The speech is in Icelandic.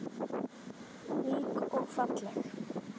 Ung og falleg.